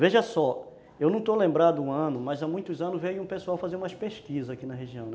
Veja só, eu não estou lembrado do ano, mas há muitos anos veio o pessoal fazer umas pesquisas aqui na região, né